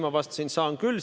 Ma vastasin, et saan küll.